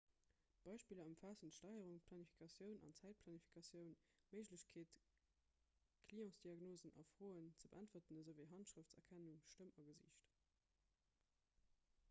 beispiller ëmfaassen d'steierung d'planifikatioun an d'zäitplanifikatioun d'méiglechkeet clientsdiagnosen a froen ze beäntweren esouwéi handschrëfterkennung stëmm a gesiicht